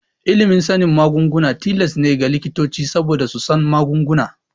Ilimin sanin magunguna tilas ne ga likitoci saboda su san magunguna.